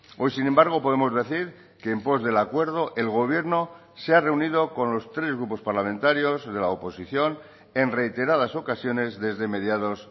hoy sin embargo podemos decir que en pos del acuerdo el gobierno se ha reunido con los tres grupos parlamentarios de la oposición en reiteradas ocasiones desde mediados